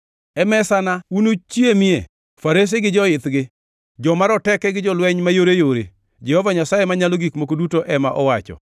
E mesana unuchamie farese gi joithgi; joma roteke gi jolweny mayoreyore,’ Jehova Nyasaye Manyalo Gik Moko Duto ema owacho.